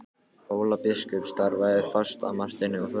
Hólabiskup starði fast á Martein og fölnaði.